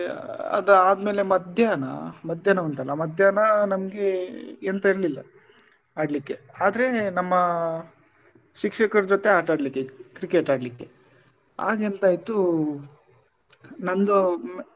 ಆ ಅದ್ ಆದ್ಮೇಲೆ ಮಧ್ಯಾಹ್ನ ಮಧ್ಯಾಹ್ನ ಉಂಟಲ್ಲ ಮಧ್ಯಾಹ್ನ ನಮ್ಗೆ ಎಂತ ಇರ್ಲಿಲ್ಲ ಆಡ್ಲಿಕ್ಕೆ ಆದ್ರೆ ನಮ್ಮ ಶಿಕ್ಷಕರ ಜೊತೆ ಆಟ ಆಡ್ಲಿಕ್ಕೆ cricket ಆಡ್ಲಿಕ್ಕೆ ಆಗ ಎಂತ ಆಯ್ತು ನಂದು ಹ್ಮ್‌.